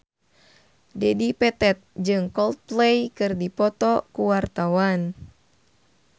Dedi Petet jeung Coldplay keur dipoto ku wartawan